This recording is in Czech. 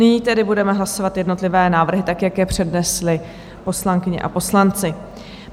Nyní tedy budeme hlasovat jednotlivé návrhy tak, jak je přednesli poslankyně a poslanci.